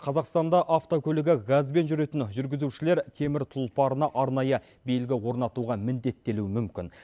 қазақстанда автокөлігі газбен жүретін жүргізушілер теміртұлпарына арнайы белгі орнатуға міндеттелуі мүмкін